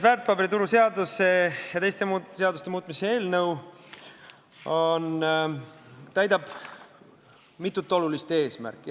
Väärtpaberituru seaduse ja teiste seaduste muutmise seaduse eelnõu teenib mitut olulist eesmärki.